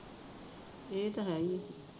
ਇਹ ਤਾਂ ਹੈ ਈ ਆ